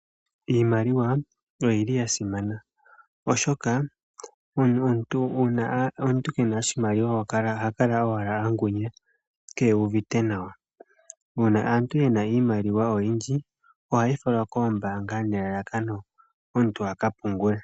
Iimaliwa oyili ya simana oshoka una yomuntu ke na oshimaliwa oha kala owala angunya, ke uvite nawa. Una aantu yena iimaliwa oyindji, oha ye yi fala kombaanga, nelalakano omuntu aka pungule.